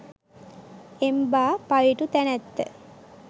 එම්බා පවිටු තැනැත්ත